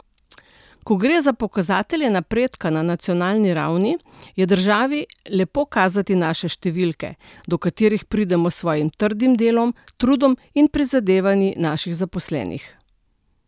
Ko gre za pokazatelje napredka na nacionalni ravni, je državi lepo kazati naše številke, do katerih pridemo s svojim trdim delom, trudom in prizadevanji naših zaposlenih.